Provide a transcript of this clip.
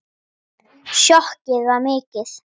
Sjokkið var mikið.